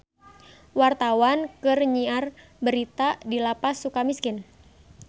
Wartawan keur nyiar berita di Lapas Sukamiskin